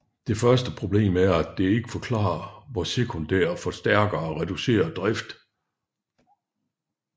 Det første problem er at det ikke forklarer hvor sekundære forstærkere reducerer drift